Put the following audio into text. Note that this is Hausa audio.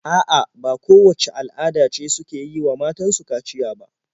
A'a, ba kowacce al'ada ce suke yi wa matan su kaciya ba.